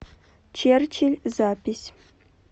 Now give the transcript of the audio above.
черчилль запись